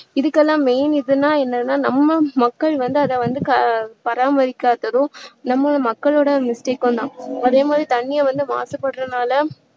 இதுக்கெல்லாம் main எதுன்னா என்னனா நம்ம மக்கள் வந்து அதைவந்து க~பாராமரிக்காததும் நம்ம மக்களுடைய mistake உம் தான் அதே மாதிரி தண்ணீரை வந்து மாசுபடுறதுனால